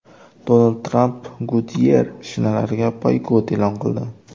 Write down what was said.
Donald Tramp Goodyear shinalariga boykot e’lon qildi.